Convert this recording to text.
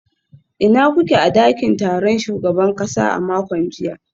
Ina kuke a dakin taron shugaban kasa a makon jiya?